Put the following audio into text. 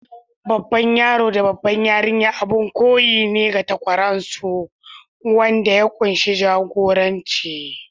Babban yaro da babbar yarinya abin koyi ne ga takwarorinsu, wanda ya kunshi jagoranci.